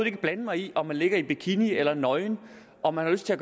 ikke blande mig i om man ligger i bikini eller er nøgen om man har lyst til at